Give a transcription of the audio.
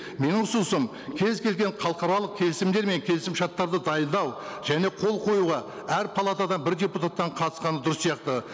менің ұсынысым кез келген халықаралық келісімдер мен келісімшарттарды дайындау және қол қоюға әр палатадан бір депутаттан қатысқаны дұрыс сияқты